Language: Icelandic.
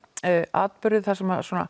atburði þar sem svona